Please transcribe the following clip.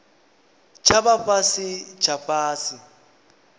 tsha vha fhasi tsha fhasi